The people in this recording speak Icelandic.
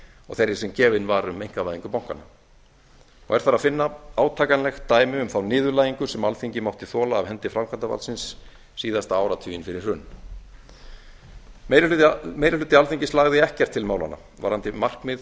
og þeirri sem gefin var um einkavæðingu bankanna er þar að finna átakanlegt dæmi um þá niðurlægingu sem alþingi mátti þola af hendi framkvæmdarvaldsins síðasta áratuginn fyrir hrun meiri hluti alþingis lagði ekkert til málanna varðandi markmið